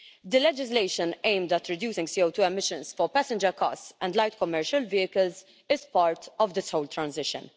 The legislation aimed at reducing CO2 emissions for passenger cars and light commercial vehicles is part of this whole transition.